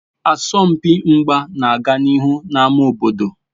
Asọmpi mgba na-aga n'ihu n'ámá obodo